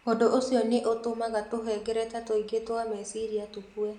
Ũndũ ũcio nĩ ũtũmaga tũhengereta tũingĩ twa meciria tũkue.